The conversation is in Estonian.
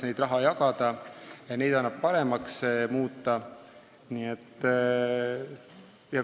Neid annab muidugi paremaks muuta.